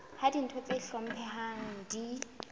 ha ditho tse hlomphehang di